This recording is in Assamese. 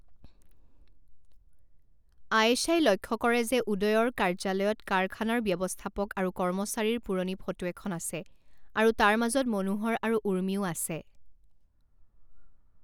আয়েশাই লক্ষ্য কৰে যে উদয়ৰ কাৰ্য্যালয়ত কাৰখানাৰ ব্যৱস্থাপক আৰু কৰ্মচাৰীৰ পুৰণি ফটো এখন আছে আৰু তাৰ মাজত মনোহৰ আৰু উৰ্মিও আছে।